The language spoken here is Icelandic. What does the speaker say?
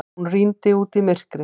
Hún rýndi út í myrkrið.